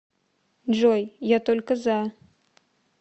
джой я только за